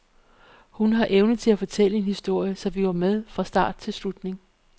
Hun har evnen til at fortælle en historie, så vi var med fra start til slutning.